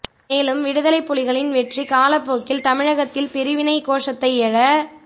மேலும் விடுதலைப் புலிகளின் வெற்றி காலப்போக்கில் தமிழகத்தில் பிரிவினைக் கோசத்தை எழ